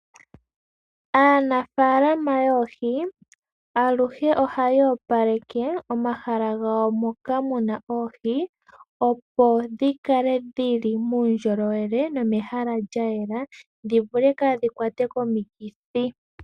Aanafaalama yoohi, aluhe ohaya opaleke omahala gawo moka mu na oohi, opo dhi kale dhi li muundjolowe nomehala lya yela, dhi vule kaa dhi kwatwe komikithi.